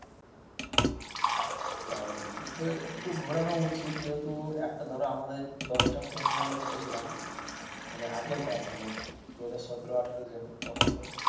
তাহলে কিন্তু একটু ঘোরানো উচিত যেহেতু একটা ধরো আমাদের দশটা friend মিলে চেপে ছিলাম মানে আগেরবার মানে দু হাজার সতেরো আঠেরো যখন তখন.